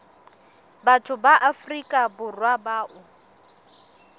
batho ba afrika borwa bao